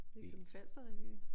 Nykøbing Falser Revyen